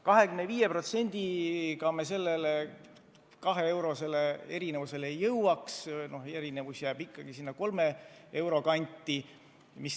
25% langetades me kahe euro suuruse vaheni ei jõuaks, erinevus jääb ikkagi kolme euro kanti.